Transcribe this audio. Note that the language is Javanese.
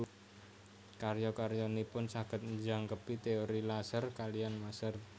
Karya karyanipun saged njangkepi teori laser kaliyan maser